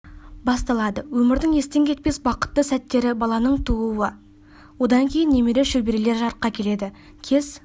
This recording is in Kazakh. басталады өмірдің естен кетпес бақытты сәттері баланың тууы одан кейін немере шөберелер жарыққа келеді кез